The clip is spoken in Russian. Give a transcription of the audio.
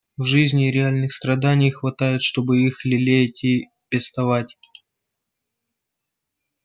в жизни и реальных страданий хватает чтобы их лелеять и пестовать